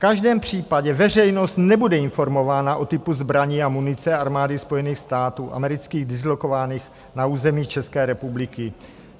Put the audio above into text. V každém případě veřejnost nebude informována o typu zbraní a munice Armády Spojených států amerických dislokovaných na území České republiky.